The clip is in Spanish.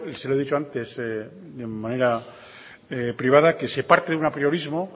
se lo he dicho antes de manera privada que se parte de un apriorismo